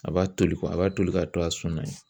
A b'a toli a b'a toli k'a to a sɔnna yen.